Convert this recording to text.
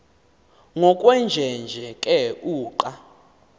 ngokwenjenje ke uqa